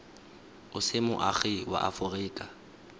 o se moagi wa aforika